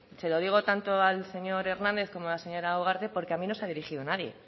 se lo digo tanto al señor hernández como a la señora ugarte porque a mí no se ha dirigido nadie